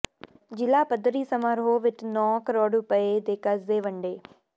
ਜ਼ਿਲ੍ਹਾ ਪੱਧਰੀ ਸਮਾਰੋਹ ਵਿੱਚ ਨੌਂ ਕਰੋੜ ਰੁਪਏ ਦੇ ਕਰਜ਼ੇ ਵੰਡੇ